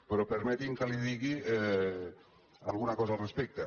però permeti’m que li digui alguna cosa al respecte